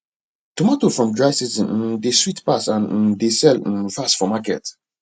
tomato from dry season um dey sweet pass and um dey sell um fast for market